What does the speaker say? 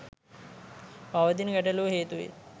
පවතින ගැටලුව හේතුවෙන්